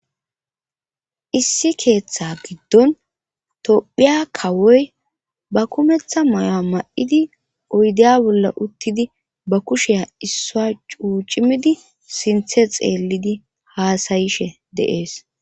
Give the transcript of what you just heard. issi keeththa giddon tophiya kawoy ba kumeththa mayo7a ma7idi oydeya bolla uttidi ba kusheya issua cuucimidi sinthe xeellidi haasayishe de'ees